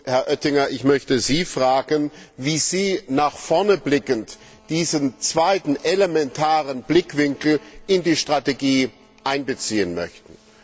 Herr Oettinger, ich möchte Sie fragen, wie Sie nach vorne blickend diesen zweiten elementaren Blickwinkel in die Strategie einbeziehen möchten.